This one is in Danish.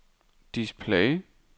display